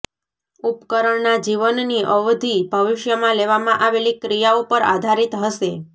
ઉપકરણના જીવનની અવધિ ભવિષ્યમાં લેવામાં આવેલી ક્રિયાઓ પર આધારિત હશે